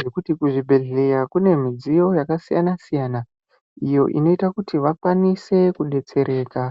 nekuti kuzvibhehlera kune midziyo yakasiyana siyana iyo inoita kuti vakwanise kudetsereka.